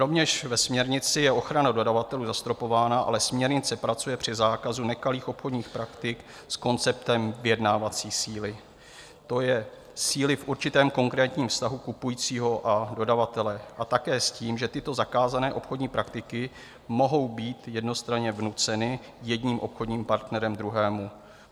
Rovněž ve směrnici je ochrana dodavatelů zastropována, ale směrnice pracuje při zákazu nekalých obchodních praktik s konceptem vyjednávací síly, to je síly v určitém konkrétním vztahu kupujícího a dodavatele, a také s tím, že tyto zakázané obchodní praktiky mohou být jednostranně vnuceny jedním obchodním partnerem druhému.